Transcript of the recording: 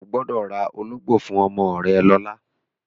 O gbọ́dọ̀ ra ológbò fún ọmọ rẹ lọ́la!